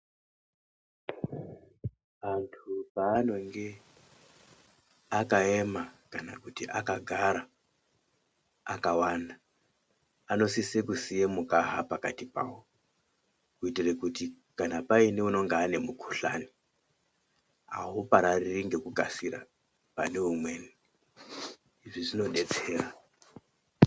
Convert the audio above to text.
Antu paanonge akayema kana kuti akagara akawanda ,anosise kusiye mukaha pakati pavo, kuyitire kuti kana payine unonga ane mukuhlani ,uwuparariri ngekukasira pane umweni ,izvi zvinodetsera.